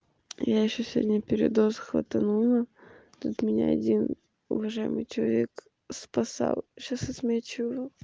я ещё сегодня передоз хватанула тут меня один уважаемый человек спасал сейчас отмечу его